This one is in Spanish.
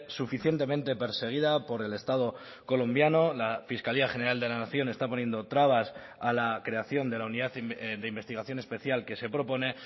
suficientemente perseguida por el estado colombiano la fiscalía general de la nación está poniendo trabas a la creación de la unidad de investigación especial que se propone